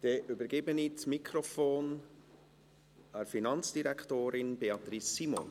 Ich übergebe das Mikrofon der Finanzdirektorin, Beatrice Simon.